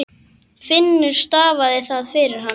Finnur stafaði það fyrir hann.